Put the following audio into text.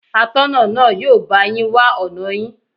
Atọ́nà náà yóò bá yín wá ọ̀nà yín.